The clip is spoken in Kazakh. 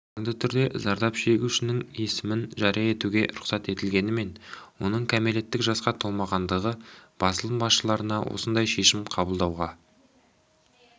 заңды түрде зардап шегушінің есімін жария етуге рұқсат етілгенімен оның кәмелеттік жасқа толмағандығы басылым басшыларына осындай шешім қабылдауға